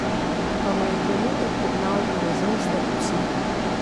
Pa me je trenutek pognal v razmislek o psihi.